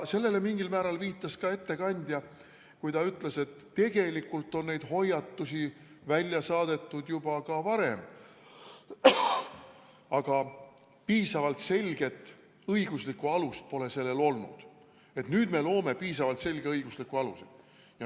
Sellele viitas mingil määral ka ettekandja, kui ta ütles, et tegelikult on neid hoiatusi välja saadetud juba varemgi, aga piisavalt selget õiguslikku alust pole sellel olnud ja nüüd me loome piisavalt selge õigusliku aluse.